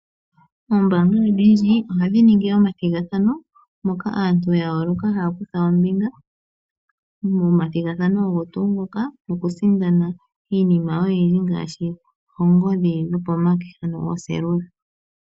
Ombaanga odhindji ohadhi ningi omathigathano moka aantu ya yooloka haya kuth aombinga momathigathano ogo tuu ngoka nokusindana iinima oyindji ngaashi oongodhi dhopomake, ano ooseelula.